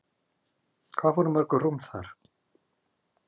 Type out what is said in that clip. Hvað fóru mörg rúm þar?